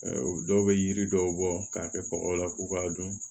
Dɔw bɛ yiri dɔw bɔ k'a kɛ kɔgɔ la k'u k'a dun